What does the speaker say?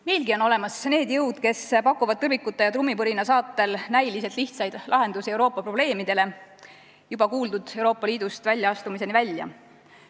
Meilgi on olemas need jõud, mis pakuvad tõrvikute ja trummipõrina saatel näiliselt lihtsaid lahendusi Euroopa probleemidele, juba kuuldud Euroopa Liidust väljaastumiseni välja.